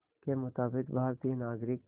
के मुताबिक़ भारतीय नागरिक